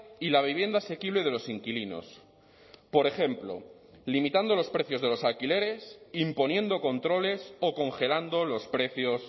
y la vivienda asequible de los inquilinos por ejemplo limitando los precios de los alquileres imponiendo controles o congelando los precios